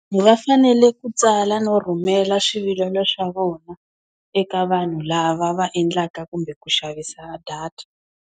Va fanele ku tsala no rhumela swivilelo swa vona eka vanhu lava va endlaka kumbe ku xavisa data.